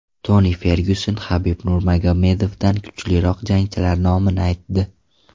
Toni Fergyuson Habib Nurmagomedovdan kuchliroq jangchilar nomini aytdi.